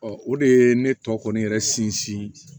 Ɔ o de ye ne tɔ kɔni yɛrɛ sinsin